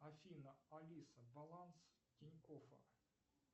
афина алиса баланс тинькоффа